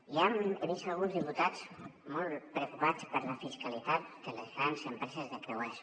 he vist alguns diputats molt preocupats per la fiscalitat de les grans empreses de creuers